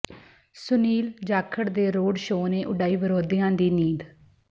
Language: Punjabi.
ਸੁਨੀਲ ਜਾਖੜ ਦੇ ਰੋਡ ਸ਼ੋਅ ਨੇ ਉਡਾਈ ਵਿਰੋਧੀਆਂ ਦੀ ਨੀਂਦ